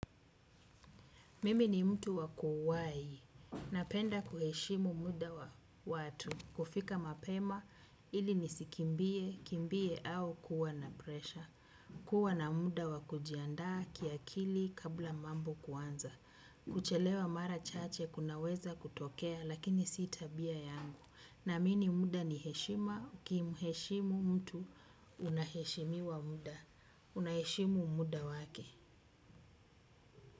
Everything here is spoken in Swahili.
Mimi ni mtu wa kuwahi, napenda kuheshimu muda wa watu, kufika mapema ili nisikimbie, kimbie au kuwa na presha. Kuwa na muda wa kujiandaa kiakili kabla mambo kuanza, kuchelewa mara chache kunaweza kutokea lakini si tabia yangu. Naamini muda ni heshima, ukimheshimu mtu unaheshimiwa muda, unaheshimu muda wake.